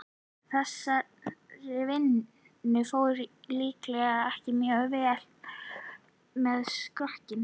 Þessar vinnutarnir fóru líklega ekki mjög vel með skrokkinn.